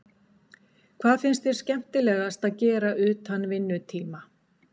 Hvað finnst þér skemmtilegast að gera utan vinnutíma?